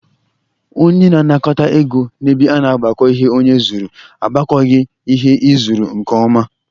Onye na-anakọta ego na ebe a na-agbakọ ihe onye zụrụ agbakọghị ihe ị zụrụ nke ọma.